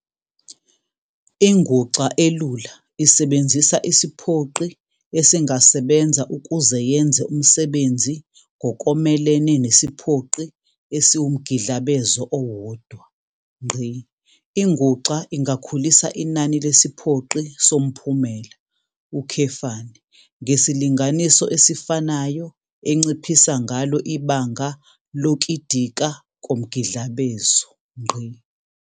Inguxa elula isebenzisa isiphoqi esingasebenza ukuze yenze umsebenzi ngokomelene nesiphoqi esiwumgidlabezo owodwa. Inguxa ingakhulisa inani lesiphoqi somphumela, ngesilinganiso esifanayo enciphisa ngalo ibanga lokidika komgidlabezo.